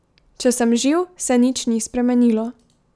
Če sem živ, se nič ni spremenilo.